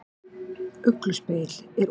Ég bý til minningar.